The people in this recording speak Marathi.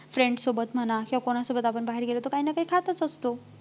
Friend सोबत म्हणा किंवा कुणासोबत आपण बाहेर गेलो तर काही ना काही खातच असतो